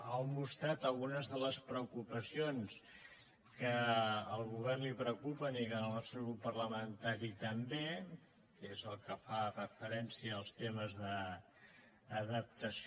ha mostrat algunes de les preocupacions que al govern el preocupen i que al nostre grup parlamentari també que és el que fa referència als temes d’adaptació